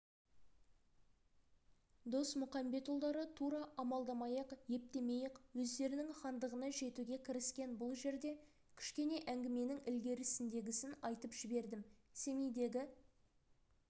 досмұқамбетұлдары тура амалдамай-ақ ептемей-ақ өздерінің хандығына жетуге кіріскен бұл жерде кішкене әңгіменің ілгерідегісін айтып жібердім семейдегі